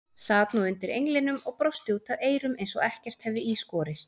Sat nú undir englinum og brosti út að eyrum eins og ekkert hefði í skorist.